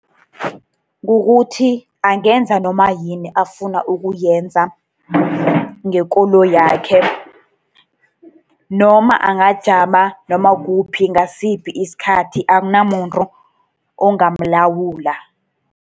Kukuthi angenza noma yini afuna ukuyenza ngekoloyakhe, noma angajama noma kukuphi ngasiphi isikhathi. Akunamuntu ongamlawula.